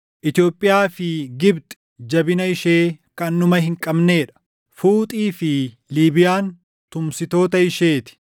Itoophiyaa fi Gibxi jabina ishee kan dhuma hin qabnee dha; Fuuxii fi Liibiyaan tumsitoota ishee ti.